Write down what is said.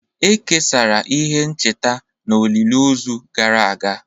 E kesara ihe ncheta na olili ozu gara aga